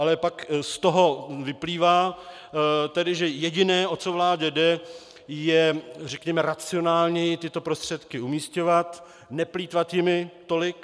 Ale pak z toho vyplývá tedy, že jediné, o co vládě jde, je, řekněme, racionálněji tyto prostředky umisťovat, neplýtvat jimi tolik.